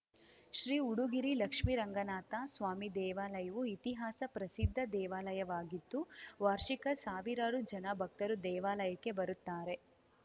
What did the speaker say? ಶ್ರೀ ಉಡುಗಿರಿ ಲಕ್ಷ್ಮಿ ರಂಗನಾಥ ಸ್ವಾಮಿ ದೇವಾಲಯವು ಇತಿಹಾಸ ಪ್ರಸಿದ್ಧ ದೇವಾಲಯವಾಗಿದ್ದು ವಾರ್ಷಿಕ ಸಾವಿರಾರು ಜನ ಭಕ್ತರು ದೇವಾಲಯಕ್ಕೆ ಬರುತ್ತಾರೆ